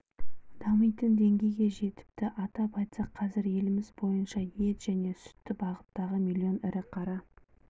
дамитын деңгейге жетіпті атап айтсақ қазір еліміз бойынша ет және сүтті бағыттағы млн ірі қара